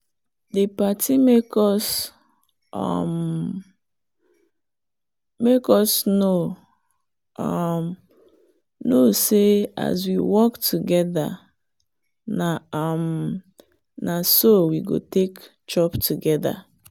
the party make us um know um say as we work together na um so we go take chop together.